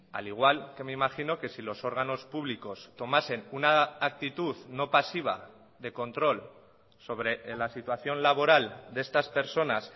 al igual que me imagino que si los órganos públicos tomasen una actitud no pasiva de control sobre la situación laboral de estas personas